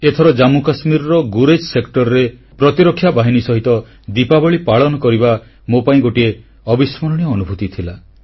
ଏଥର ଜାମ୍ମୁକାଶ୍ମୀରର ଗୁରେଜ ସେକ୍ଟରରେ ପ୍ରତିରକ୍ଷା ବାହିନୀ ସହ ଦୀପାବଳୀ ପାଳନ କରିବା ମୋ ପାଇଁ ଗୋଟିଏ ଅବିସ୍ମରଣୀୟ ଅନୁଭୂତି ଥିଲା